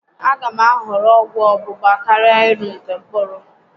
A gá m ahọrọ ọgwụ ọ́gbụgba karịa ịnụ nke mkpụrụ